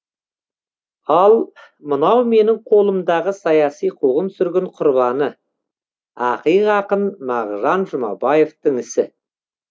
ал мынау менің қолымдағы саяси қуғын сүргін құрбаны ақиық ақын мағжан жұмабаевтың ісі